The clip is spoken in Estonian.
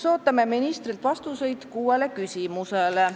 Ootame ministrilt vastuseid kuuele küsimusele.